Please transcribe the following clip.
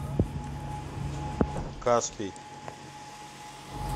каспий